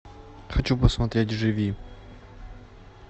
хочу посмотреть живи